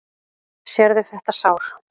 Sérðu þetta sár?